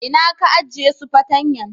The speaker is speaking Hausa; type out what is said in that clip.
Inna ka ajie su fatanyan?